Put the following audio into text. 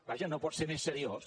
vaja no pot ser més seriós